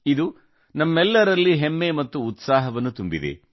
ಇದು ನಮ್ಮೆಲ್ಲರಲ್ಲಿ ಹೆಮ್ಮೆ ಮತ್ತು ಉತ್ಸಾಹವನ್ನು ತುಂಬಿದೆ